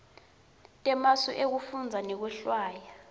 temasu ekufundza nekwehlwaya